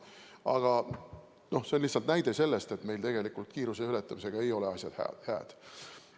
Aga see on lihtsalt näide selle kohta, et tegelikult kiiruse ületamisega ei ole asjad hääd.